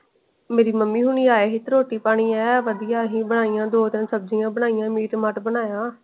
ਮੇਰੀ ਮਮੀ ਹੋਣੀ ਆਏ ਸੀ ਤੇ ਰੋਟੀ ਪਾਣੀ ਐਨ ਵੜਿਆ ਅਸੀ ਬਣਾਇਆਂ ਦੋ ਤੈਂ ਸਬਜ਼ੀਆਂ ਬਣਾਇਆਂ ਮੀਟ ਮਾਤ ਬਨਾਯਾ।